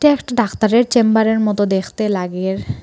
একটু ডাক্তারের চেম্বারের মত দেখতে লাগের ।